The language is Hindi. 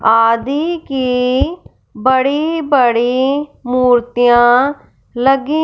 आदि की बड़ी बड़ी मूर्तियां लगी--